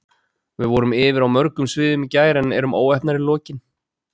Við vorum yfir á mörgum sviðum í gær en erum óheppnar í lokin.